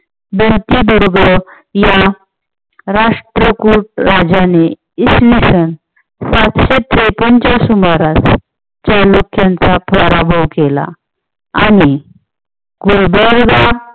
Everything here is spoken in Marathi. बरोबर या राष्ट्रखोत राजाने इसवीसन पाचशे त्रेपन्न च्या सुमारास चालुक्यांचा पराभव केला आणि